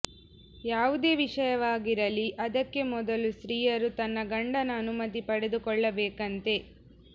ಯಾವುದೇ ವಿಷಯವಾಗಿರಲಿ ಅದಕ್ಕೆ ಮೊದಲು ಸ್ತಿಯರು ತನ್ನ ಗಂಡನ ಅನುಮತಿ ಪಡೆದು ಕೊಳ್ಳಬೇಕಂತೆ